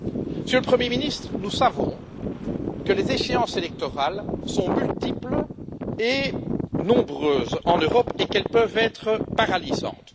Monsieur le Premier ministre, nous savons que les échéances électorales sont multiples et nombreuses en Europe et qu'elles peuvent être paralysantes.